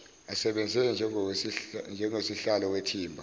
asebenze njengosihlalo wethimba